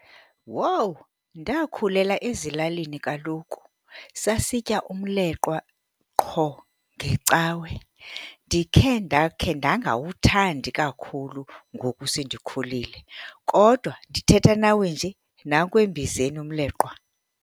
Wowu, ndakhulela ezilalini kaloku. Sasitya umleqwa qho ngeCawe. Ndikhe ndakhe ndangawuthandi kakhulu ngoku sendikhulile kodwa ndithetha nawe nje, nanku embizeni umleqwa.